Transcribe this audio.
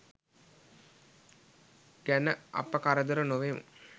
ගැන අප කරදර නොවෙමු.